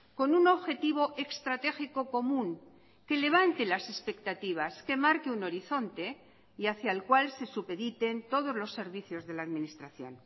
con un objetivo estratégico común que levante las expectativas que marque un horizonte y hacia el cual se supediten todos los servicios de la administración